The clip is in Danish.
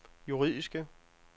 juridiske